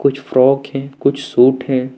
कुछ फ्रॉक हैं कुछ सूट हैं।